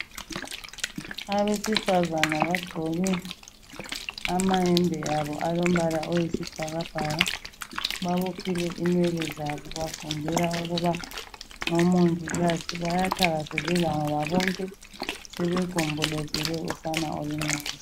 abesifazana bagqoke amahembe wabo alemibala eyisibhakabhaka babophile inwele zabo benzela ukuba ngomongikazi bayathakazelela ngoba bonke sebegombolozele usana oluncane